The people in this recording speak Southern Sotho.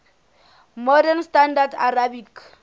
modern standard arabic